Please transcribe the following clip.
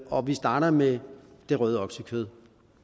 og vi starter med det røde oksekød